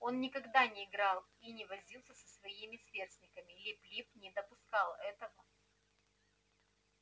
он никогда не играл и не возился со своими сверстниками лип лип не допускал этого